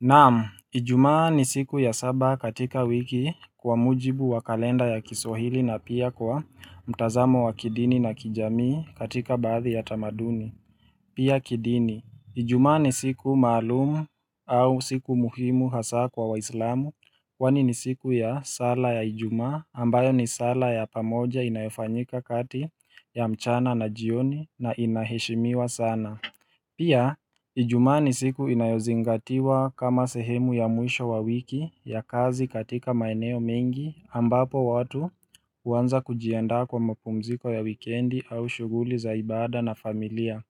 Naam, ijumaa ni siku ya saba katika wiki kwa mujibu wa kalenda ya kiswahili na pia kwa mtazamo wa kidini na kijamii katika baadhi ya tamaduni. Pia kidini, ijumaa ni siku maalumu au siku muhimu hasaa kwa wahislamu kwani ni siku ya sala ya ijumaa ambayo ni sala ya pamoja inayofanyika kati ya mchana na jioni na inaheshimiwa sana. Pia, ijumaa ni siku inayozingatiwa kama sehemu ya mwisho wa wiki ya kazi katika maeneo mengi ambapo watu huanza kujiandaa kwa mpumziko ya wikendi au shughuli za ibada na familia.